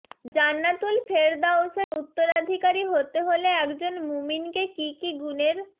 জান্নাতুল ফেরদাউসের উত্তরাধিকারী হতে হলে একজন মুমিনকে কি কি গুণের